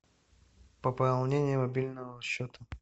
пополнение мобильного счета